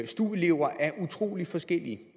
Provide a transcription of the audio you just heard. stu elever er utrolig forskellige